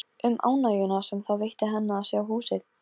Bylgja rífur sig úr fötunum meðan hún lætur móðan mása.